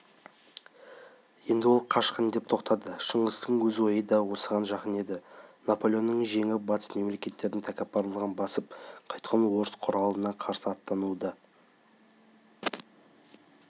енді ол қашқын деп тоқтады шыңғыстың өз ойы да осыған жақын еді наполеонды жеңіп батыс мемлекеттерінің тәкаппарлығын басып қайтқан орыс құралына қарсы аттануға